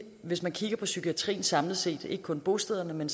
hvis man kigger på psykiatrien samlet set altså ikke kun på bostederne men